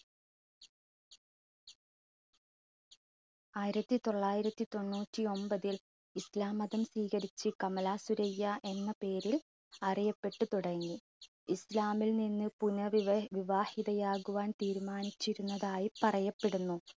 ആയിരത്തിതൊള്ളായിരത്തി തൊണ്ണൂറ്റിഒൻപതിൽ ഇസ്ലാം മതം സ്വീകരിച്ച് കമലാ സുരയ്യ എന്ന പേരിൽ അറിയപ്പെട്ടു തുടങ്ങി. ഇസ്ലാമില്‍ നിന്ന് പുനർവി~വിവാഹിതയാകുവാൻ തീരുമാനിച്ചിരുന്നതായി പറയപ്പെടുന്നു.